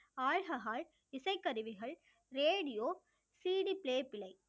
alcohol இசைக்கருவிகள் radioCDplay